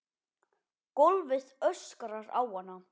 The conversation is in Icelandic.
Gólfið öskrar á hana.